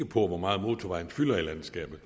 på hvor meget motorvejen fylder i landskabet